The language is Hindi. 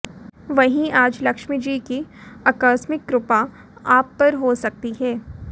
वहीं आज लक्ष्मी जी की आकस्मिक कृपा आप पर हो सकती है